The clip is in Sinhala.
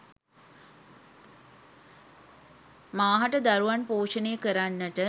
මාහට දරුවන් පෝෂණය කරන්නට,